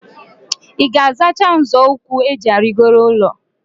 II ga-azachakwa nzo ukwu eji arigoro ulo?